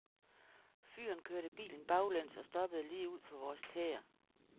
Fyren kørte bilen baglæns og stoppede lige ud for vores tæer.